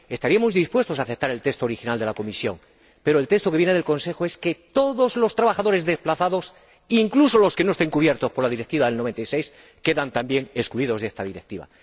Estaríamos dispuestos a aceptar el texto original de la Comisión, pero el texto que viene del Consejo dispone que todos los trabajadores desplazados, incluso los que no estén cubiertos por la Directiva de 1996, quedan también excluidos de esta Directiva.